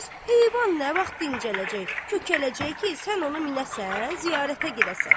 Bəs heyvan nə vaxt dincələcək, kökələcək ki, sən onu minəsən, ziyarətə gedəsən?